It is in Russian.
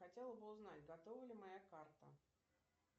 хотела бы узнать готова ли моя карта